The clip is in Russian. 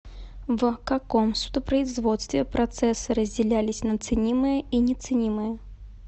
в каком судопроизводстве процессы разделялись на ценимые и неценимые